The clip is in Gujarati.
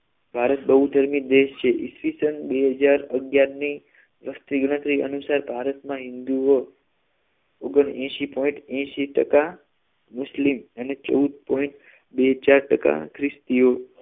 ભારત બહુધર્મી દેશ છે ઈ. સ. બે હજાર અગિયાર ની વસ્તી ગણતરી અનુસાર ભારતમાં હિન્દુઓ અગ્નીયાશી point એંશી ટકા મુસ્લિમ અને ચૌદ point બે ચાર ટકા ખ્રિસ્તીઓ